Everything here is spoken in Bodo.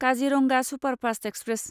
Kaziranga superfast express